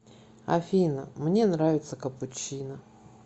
афина мне нравится капучино